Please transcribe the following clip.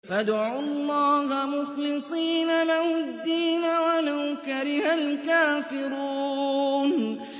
فَادْعُوا اللَّهَ مُخْلِصِينَ لَهُ الدِّينَ وَلَوْ كَرِهَ الْكَافِرُونَ